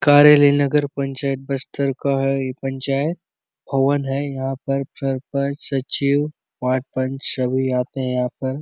कार्यालय नगर पंचायत बस्तर का है ये पंचायत भवन है यहाँ पर सरपंच सचिव वार्ड पंच सभी आते है यहाँ पर --